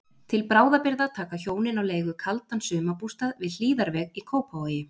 Til bráðabirgða taka hjónin á leigu kaldan sumarbústað við Hlíðarveg í Kópavogi.